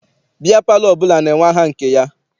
Biya palọ ọbụla na-enwe aha nke ya.